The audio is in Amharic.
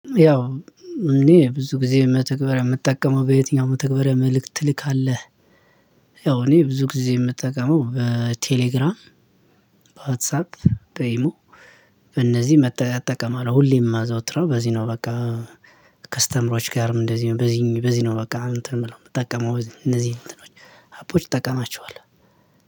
ያው እኔ ብዙ ጊዜ መተግበርያ የምጠቀመው በየትኛውም መተግበርያ መልእክት ትልካለህ። ያው እኔ ብዙ ጊዜ የምጠቀመው በቴሌግራም በዋትሳፕ በእሞ በእነዚህ መጠቀሚያ ነው ሁሌም የማዘወትረው በዚህ ነው። በቃ። ከስተመሮች ጋርም እንደዚህ ነው በዚህ በዚህ ነው በቃ እንትን ምላው ሚጠቀመው እነዚህን እንትኖች አፖች እጠቀማቸዋል።